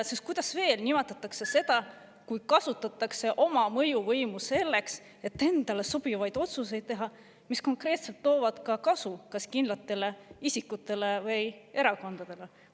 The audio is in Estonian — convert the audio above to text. Sest kuidas veel nimetada seda, kui kasutatakse oma mõjuvõimu selleks, et endale sobivaid otsuseid teha, mis konkreetselt toovad kasu kas kindlatele isikutele või erakondadele?